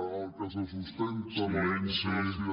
en el que se sustenta la democràcia